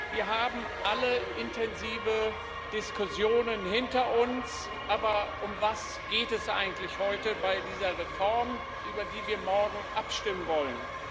Wir haben alle intensive Diskussionen hinter uns, aber um was geht es eigentlich heute bei dieser Reform, über die wir morgen abstimmen wollen?